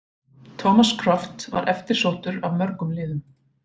Thomas Kraft var eftirsóttur af mörgum liðum.